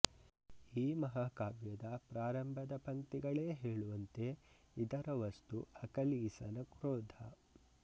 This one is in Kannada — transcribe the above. ಈ ಮಹಾಕಾವ್ಯದ ಪ್ರಾರಂಭದ ಪಂಕ್ತಿಗಳೇ ಹೇಳುವಂತೆ ಇದರ ವಸ್ತು ಅಕಿಲೀಸನ ಕ್ರೋಧ